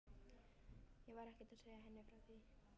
Ég var ekkert að segja henni frá því.